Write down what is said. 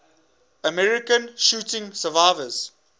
american shooting survivors